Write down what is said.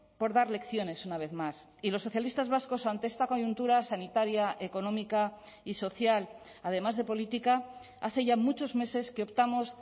por dar lecciones una vez más y los socialistas vascos ante esta coyuntura sanitaria económica y social además de política hace ya muchos meses que optamos